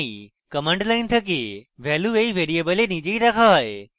command line থেকে value এই ভ্যারিয়েবলে নিজেই রাখা হয়